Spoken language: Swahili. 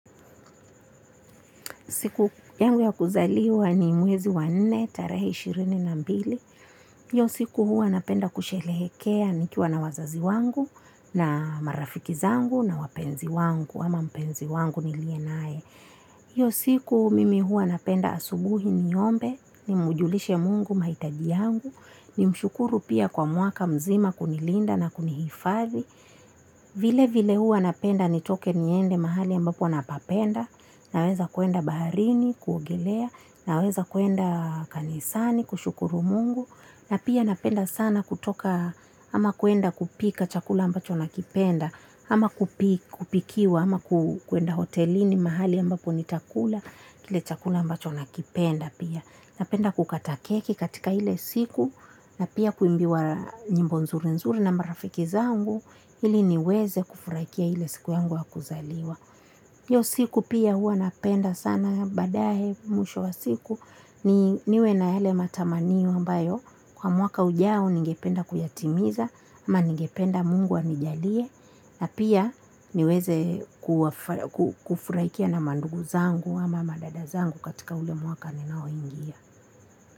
Siku yangu ya kuzaliwa ni mwezi wa nne, tarehe ishirini na mbili. Iyo siku huwa napenda kushelehekea nikiwa na wazazi wangu, na marafiki zangu, na wapenzi wangu, ama mpenzi wangu nilie nae. Iyo siku mimi huwa napenda asubuhi niombe, ni mujulishe Mungu maitaji yangu, nimshukuru pia kwa mwaka mzima kunilinda na kunihifadhi. Vile vile huwa napenda nitoke niende mahali ambapo napapenda. Naweza kuenda baharini kuogelea. Naweza kuenda kanisani kushukuru Mungu Na pia napenda sana kutoka ama kuenda kupika chakula ambacho nakipenda. Ama kupikiwa ama kuenda hotelini mahali ambapo nitakula. Kile chakula ambacho nakipenda pia. Napenda kukata keki katika hile siku. Na pia kuimbiwa nyimbo nzuri nzuri na marafiki zangu ili niweze kufurakia ile siku yangu ya kuzaliwa. Iyo siku pia huwa napenda sana badaye mwisho wa siku niwe na yale matamanio ambayo kwa mwaka ujao ningependa kuyatimiza ama ningependa Mungu anijalie na pia niweze kufurakia na mandugu zangu ama madada zangu katika ule mwaka ninao ingia.